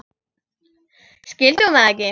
Skildi hún það ekki?